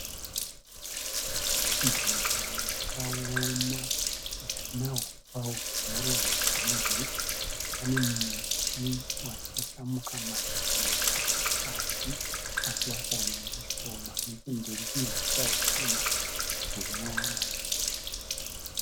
Nzvimbo yakaoma isina huswa hunyoro huzhinji. Pane muti wasasamuka mashizha pasi asi wasara nemashoma, nechemberi kune huswa hushoma hunyoro